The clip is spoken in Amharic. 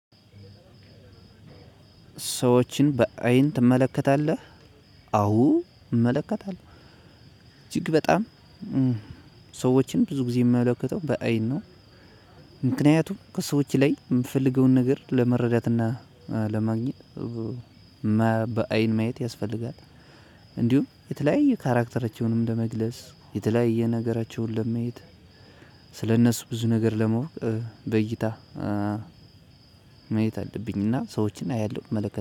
ሰዎችን በአይን ትመለከታለህ? አዎ እመለከታለሁ እጅግ በጣም ሰዎችን ብዙ ጊዜ የምመለከተው በአይን ነው። ምክንያቱም ከሰዎች ላይ የምፈልገውን ነገር ለመረዳትና ለማግኘት። በአይን ማየት ያስፈልጋል። እንዲሁም የተለያየ ካራክተራቸውንም ለመግለጽ የተለያየ ነገራቸውን ለመየት ስለእነሱ ብዙ ነገር ለማወቅ በእይታ ማየት አለብኝና ሰዎችን አያለሁ እመለከት